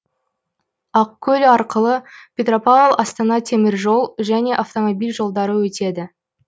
ақкөл арқылы петропавл астана темір жол және автомобиль жолдары өтеді